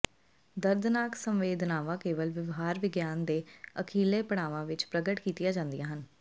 ਦਰਦਨਾਕ ਸੰਵੇਦਨਾਵਾਂ ਕੇਵਲ ਵਿਵਹਾਰ ਵਿਗਿਆਨ ਦੇ ਅਖੀਰਲੇ ਪੜਾਵਾਂ ਵਿੱਚ ਪ੍ਰਗਟ ਕੀਤੀਆਂ ਜਾਂਦੀਆਂ ਹਨ